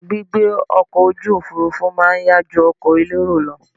Gbígbé ọkọ̀ ojú òfurufú má a nyá ju ọkọ̀ elérò lọ